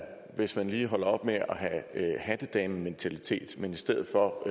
hvis man lige holder op med at have hattedamementalitet men i stedet for